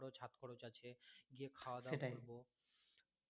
হাত খরচ আছে গিয়ে খাওয়া দাওয়া করবো